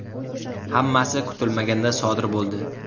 Hammasi kutilmaganda sodir bo‘ldi.